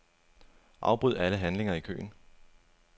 Afbryd alle handlinger i køen.